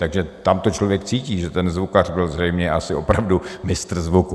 Takže tam to člověk cítí, že ten zvukař byl zřejmě asi opravdu mistr zvuku.